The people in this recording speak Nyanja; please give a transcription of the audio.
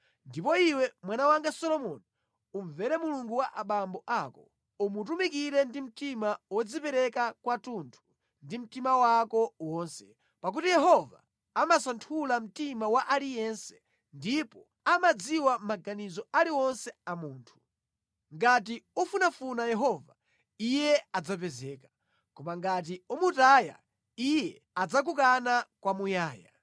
“Ndipo iwe mwana wanga Solomoni, umvere Mulungu wa abambo ako, umutumikire ndi mtima wodzipereka kwathunthu ndi mtima wako wonse, pakuti Yehova amasanthula mtima wa aliyense, ndipo amadziwa maganizo aliwonse a munthu. Ngati ufunafuna Yehova, Iye adzapezeka; koma ngati umutaya, Iye adzakukana kwamuyaya.